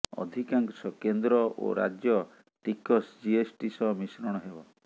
ଅଧିକାଂଶ କେନ୍ଦ୍ର ଓ ରାଜ୍ୟ ଟିକସ ଜିଏସ୍ଟି ସହ ମିଶ୍ରଣ ହେବ